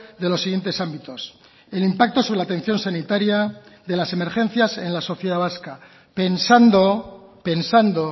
de los siguientes ámbitos el impacto sobre la atención sanitaria de las emergencias en la sociedad vasca pensando pensando